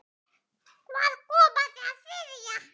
Hvaðan kom það þriðja?